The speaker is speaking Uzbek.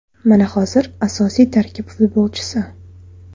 Mana hozir asosiy tarkib futbolchisi.